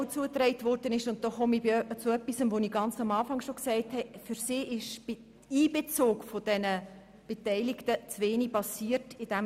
Auch wurde mir zugetragen – und damit komme ich auf etwas zu sprechen, was ich zu Beginn erwähnt habe –, dass beim Einbezug der Beteiligten in den EP 2018 zu wenig passiert ist.